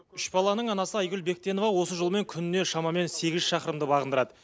үш баланың анасы айгүл бектенова осы жолмен күніне шамамен сегіз шақырымды бағындырады